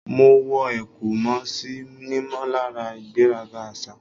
Mo wọ ẹ̀kú mo sì nímọ̀lára ìgbéraga àṣà.